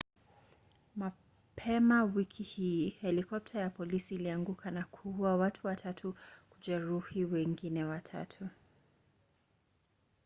mapema wiki hii helikopta ya polisi ilianguka na kuua watu watatu na kujeruhi wengine watatu